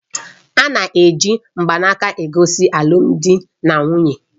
A na-eji mgbanaka egosi alụmdi na nwunye.